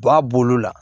B'a bolo la